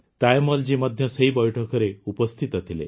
ତାୟମ୍ମଲଜୀ ମଧ୍ୟ ସେହି ବୈଠକରେ ଉପସ୍ଥିତ ଥିଲେ